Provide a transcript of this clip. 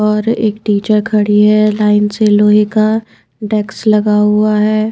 और एक टीचर खड़ी हैलाइन से लोहे का डेक्स लगा हुआ है।